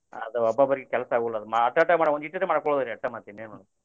ಅದ ಒಬ್ಬೊಬ್ಬರಿಗೆ ಕೆಲಸ ಆಗುಲ್ಲ ಅದ ಅಟಟ ಮಾಡ್ಕೊದ ಅದ ಒಂದ ಇಟಿಟ ಮಾಡ್ಕೊದ್ರಿ ಮತ್ತ ಇನ್ನೇನು.